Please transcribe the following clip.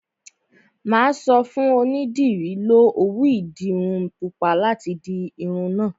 Mà á sọ fún onídìrí, 'Lo òwú ìdiru pupa láti di irun náà'